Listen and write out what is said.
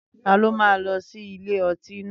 Taló máa lọ sí ilé ọtí náà?